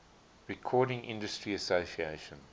recording industry association